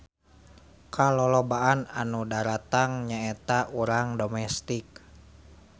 Kalolobaan nu daratang nya eta urang domestik.